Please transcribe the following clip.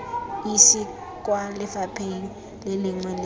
esi kwa lefapheng lengwe le